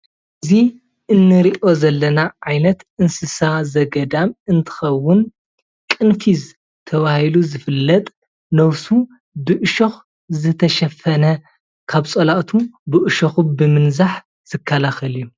እዚ እንሪኦ ዘለና ዓይነት እንስሳ ዘገዳም እንትከውን ቅንፊዝ ተባሂሉ ዝፍለጥ ነብሱ ብእሾክ ዝተሸፈነ ካብ ፀላእቱ ብእሸኩ ብምንዛሕ ዝከላከል እዩ፡፡